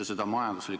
Annely Akkermann, palun!